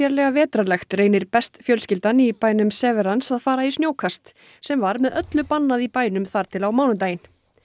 ýkja vetrarlegt reynir best fjölskyldan í bænum Severance að fara í snjókast sem var með öllu bannað í bænum þar til á mánudaginn